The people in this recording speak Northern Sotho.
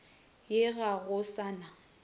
ye ga go sa na